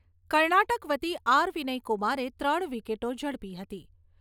કર્ણાટક વતી આર.વિનય કુમારે ત્રણ વિકેટો ઝડપી હતી.